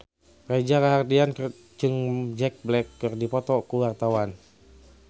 Reza Rahardian jeung Jack Black keur dipoto ku wartawan